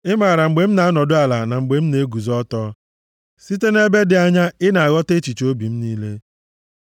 Ị maara mgbe m na-anọdụ ala na mgbe m na-eguzo ọtọ; site nʼebe dị anya, ị na-aghọta echiche obi m niile.